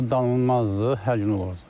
Bu danılmazdı, hər gün olurdu.